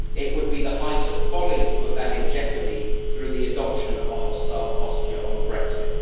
It would be the height of folly to put that in jeopardy through the adoption of a hostile posture on Brexit.